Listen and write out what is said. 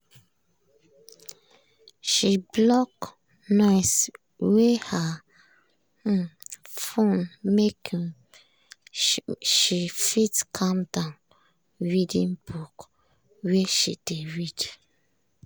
she block noise wey her um phone make um she fit calm down readin book wey she dey read.